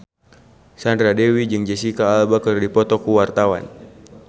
Sandra Dewi jeung Jesicca Alba keur dipoto ku wartawan